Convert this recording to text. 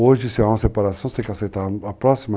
Hoje, se há uma separação, você tem que aceitar a próxima,